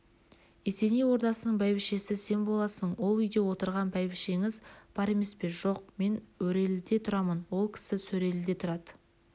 есеней ордасының бәйбішесі сен боласың ол үйде отырған бәйбішеңіз бар емес пе жоқ мен өреліде тұрамын ол кісі сөреліде тұрады